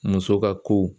Muso ka ko